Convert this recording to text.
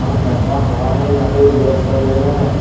Wanda का वाहे लागे जिगर बगेरा--